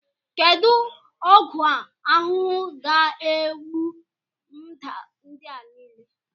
Kedu ọgwụ ahuhu ga-egbu mda ndị a niile?